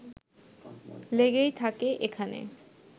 লেগেই থাকে এখানে